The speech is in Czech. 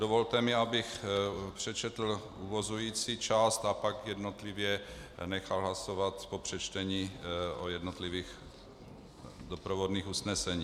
Dovolte mi, abych přečetl uvozující část a pak jednotlivě nechal hlasovat po přečtení o jednotlivých doprovodných usneseních: